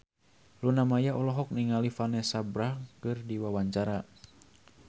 Luna Maya olohok ningali Vanessa Branch keur diwawancara